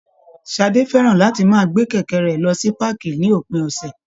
Ṣadé fẹ́ràn láti máa gbé kẹ̀kẹ́ rẹ̀ lọ sí páàkì ní òpin ọ̀sẹ̀